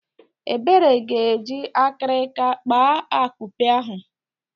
Ebere ga-eji akirika kpaa akupe ahụ.